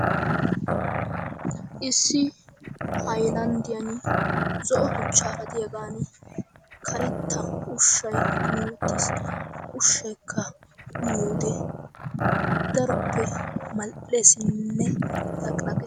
issi haylaandiyaan zo'o tuchchaara diyaagan karetta uushshay kumi uttiis. ha uushshaykka uyiyoode daroppe mal'eesinne laqilaqees.